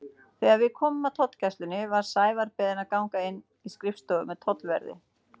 Þegar við komum að tollgæslunni var Sævar beðinn að ganga inn í skrifstofu með tollverði.